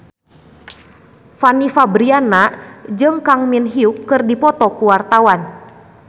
Fanny Fabriana jeung Kang Min Hyuk keur dipoto ku wartawan